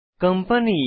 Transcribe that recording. company